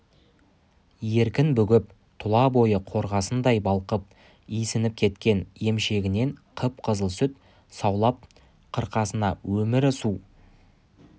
еркін бүгіп тұла бойы қорғасындай балқып исініп кеткен емшегінен қып-қызыл сүт саулап қырқасына өмірі су